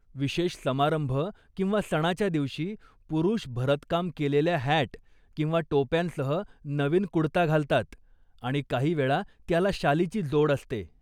विशेष समारंभ किंवा सणाच्या दिवशी, पुरुष भरतकाम केलेल्या हॅट किंवा टोप्यांसह नवीन कुडता घालतात, आणि काहीवेळा त्याला शालीची जोड असते.